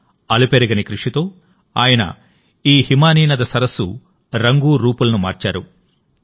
తన అలుపెరగని కృషితోఆయన ఈ హిమానీనద సరస్సు రంగురూపులను మార్చారు